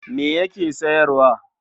Ma yake sayarwa?